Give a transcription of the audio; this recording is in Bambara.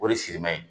O de siriman ye